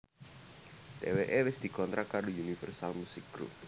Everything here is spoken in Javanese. Dheweké wis dikontrak karo Universal Musik Group